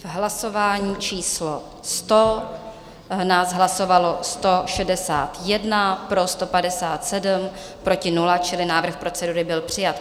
V hlasování číslo 100 nás hlasovalo 161, pro 157, proti 0, čili návrh procedury byl přijat.